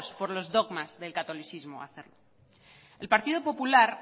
por los dogmas del catolicismo acérrimo el partido popular